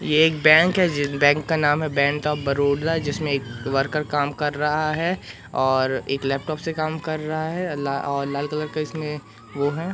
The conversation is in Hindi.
ये एक बैंक है जिस बैंक का नाम है बैंक ऑफ बड़ोदा जिसमें एक वर्कर काम कर रहा है और एक लैपटॉप से काम कर रहा है अ ला और लाल कलर का इसमें वो हैं।